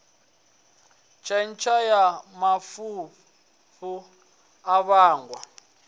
khentsa ya mafhafhu a vhangwa